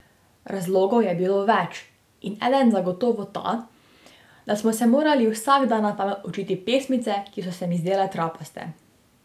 Razlogov je bilo več in eden zagotovo ta, da smo se morali vsak dan na pamet učiti pesmice, ki so se mi zdele trapaste.